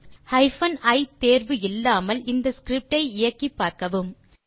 hyphen e தேர்வு இல்லாமல் இந்த ஸ்கிரிப்ட் ஐ இயக்கிப்பார்க்கவும்